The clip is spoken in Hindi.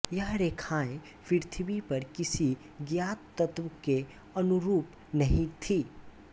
ये रेखाएँ पृथ्वी पर किसी ज्ञात तत्व के अनुरूप नहीं थीं